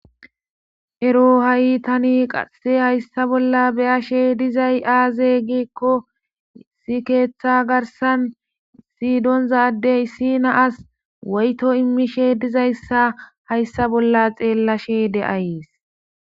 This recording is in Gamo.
Ero ha'i tani qase hayssa bolla beyashe dizay aaze gikko si keeththa garsan sidonzadey sina as woyto immishe dizayssa hayssa bolla xeellashe de'ays.